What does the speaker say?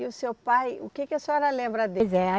E o seu pai, o que que a senhora lembra dele? Pois é